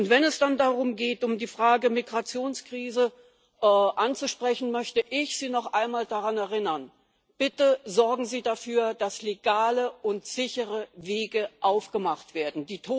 Wenn es dann darum geht, die Frage der Migrationskrise anzusprechen, möchte ich Sie noch einmal daran erinnern Bitte sorgen Sie dafür, dass legale und sichere Wege aufgemacht werden!